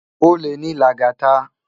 Ólé ni Lagata